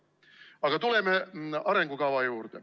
Aga tuleme arengukava juurde.